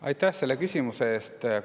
Aitäh selle küsimuse eest!